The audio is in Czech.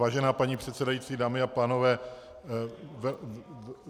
Vážená paní předsedající, dámy a pánové.